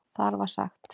Þar var sagt